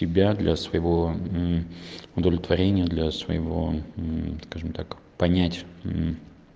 тебя для своего удовлетворения для своего скажем так понять